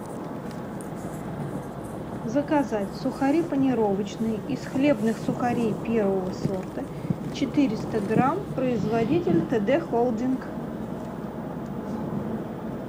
заказать сухари панировочные из хлебных сухарей первого сорта четыреста грамм производитель тд холдинг